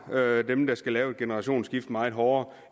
dem der skal lave et generationsskifte meget hårdere